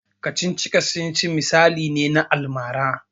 Kacici-kacicic misali ne na almara.